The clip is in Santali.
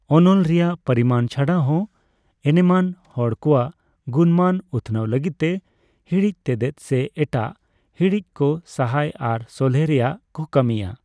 ᱚᱱᱚᱞ ᱨᱮᱭᱟᱜ ᱯᱚᱨᱤᱢᱟᱱ ᱪᱷᱟᱰᱟᱦᱚᱸ, ᱮᱱᱮᱢᱟᱱ ᱦᱚᱲ ᱠᱚᱣᱟᱜ ᱜᱩᱱᱼᱢᱟᱹᱱ ᱩᱛᱷᱱᱟᱹᱣ ᱞᱟᱹᱜᱤᱫᱛᱮ, ᱦᱤᱲᱤᱡ ᱛᱮᱛᱮᱫ ᱥᱮ ᱮᱴᱟᱜ ᱦᱤᱲᱤᱡ ᱠᱚ ᱥᱟᱦᱟᱭ ᱟᱨ ᱥᱚᱞᱦᱮ ᱨᱮᱭᱟᱜᱠᱚ ᱠᱟᱹᱢᱤᱭᱟ ᱾